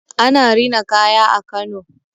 Ana rina kaya a Kano.